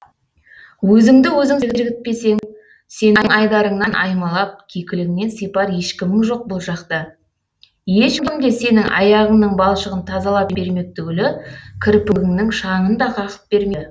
өзіңді өзің сергітпесең сенің айдарыңнан аймалап кекіліңнен сипар ешкімің жоқ бұл жақта ешкім де сенің аяғыңның балшығын тазалап бермек түгілі кірпігіңнің шаңын да қағып бермейді